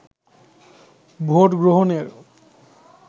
vote গ্রহণের